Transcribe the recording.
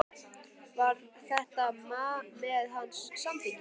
Var þetta með hans samþykki?